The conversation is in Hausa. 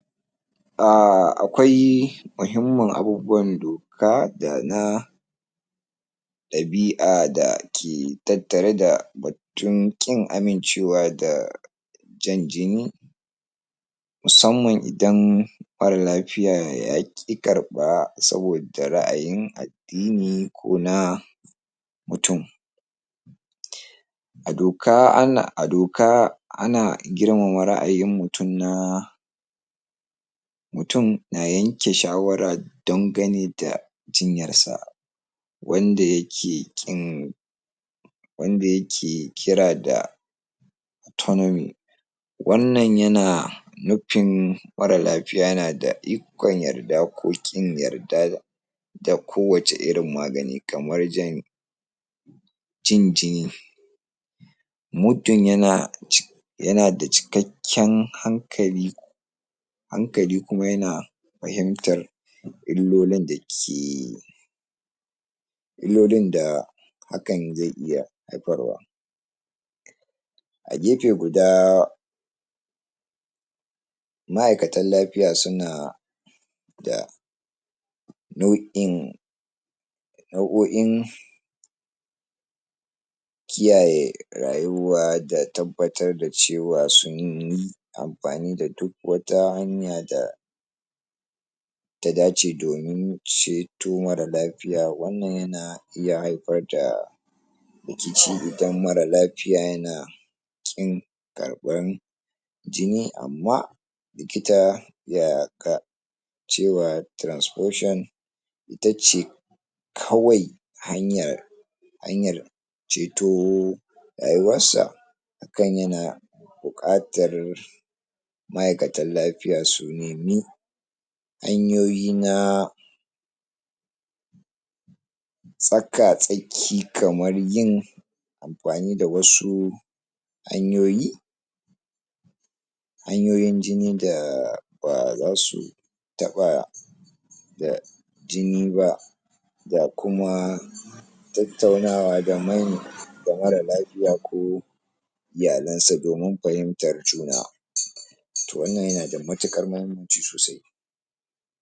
um akwai mahimmin abubuwan doka dana ɗabia dake tattare da bakun kin amincewa da jan jini musamman idan mara lafiya yaki karɓa saboda ra'ayin adini kona mutun adoka ana adoka ana jirmama ra'ain mutun na mutun na yanke shawara dan gane da ginyar sa wanda yake kin wanda yake kira da wannan yana nufin mara lafiya yanada ikon yarda ko kin yarda ta kowace irin magani kamar jan jan jini muddin yana yanada cikakin hankali hankali kuma yana fahimtar ilolin dake ilolin da hakan zai iya haifarwa a gefe guda ma'aikatan lafiya suna da nau'in nau'oin kiyaye rayuwa da tabbatar da cewa sunyi anfani da duk wata hanya da ta dace domin ceto mara lafiya wannan yana iya hayfarda rikici idan mara lafiya yana kin karɓan jini amma likita ya cewa trasfusion itace kawai hanyar hanyar ceto raruwan sa ka yana buƙatar ma'aiyakaan lafiya su nimi hanyoyi na tsaka tsaki kamar yin anfane da wasu hanyoyi yanyoyin jini da ba zasuyi taɓa da jini ba ba kuma tattaunawa da manya da mara lafiya ko iyalansa domin fahimtar juna to wannan yanada matuƙar mahimmanci sosai